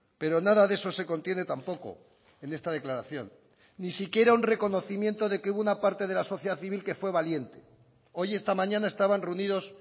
pero nada de eso se contiene tampoco en esta declaración ni siquiera un reconocimiento de que hubo una parte de la sociedad civil que fue valiente hoy esta mañana estaban reunidos